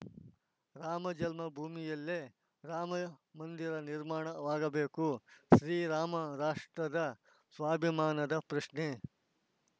ರಾಮ ಜನ್ಮಭೂಮಿಯಲ್ಲೇ ರಾಮ ಮಂದಿರ ನಿರ್ಮಾಣವಾಗಬೇಕು ಶ್ರೀರಾಮ ರಾಷ್ಟ್ರದ ಸ್ವಾಭಿಮಾನದ ಪ್ರಶ್ನೆ